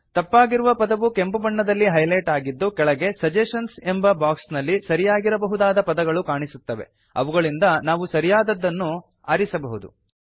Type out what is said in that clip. ತಪ್ಪಾಗಿರುವ ಪದವು ಕೆಂಪು ಬಣ್ಣದಲ್ಲಿ ಹೈಲೆಟ್ ಆಗಿದ್ದು ಕೆಳಗೆ ಸಜೆಷನ್ಸ್ ಎಂಬ ಬಾಕ್ಸ್ ನಲ್ಲಿ ಸರಿಯಾಗಿರಬಹುದಾದ ಪದಗಳು ಕಾಣಿಸುತ್ತವೆ ಅವುಗಳಿಂದ ನಾವು ಸರಿಯಾದದ್ದನ್ನು ನಾವು ಆರಿಸಬಹುದು